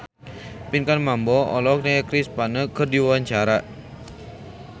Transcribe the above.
Pinkan Mambo olohok ningali Chris Pane keur diwawancara